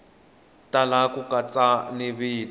tala ku katsa ni vito